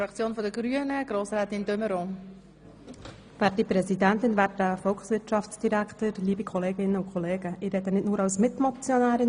Ich spreche nicht nur als Mitmotionärin, sondern auch für die Fraktion der Grünen.